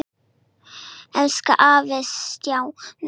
Elsku afi Stjáni.